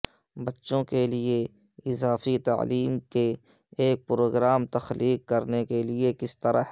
بچوں کے لئے اضافی تعلیم کے ایک پروگرام تخلیق کرنے کے لئے کس طرح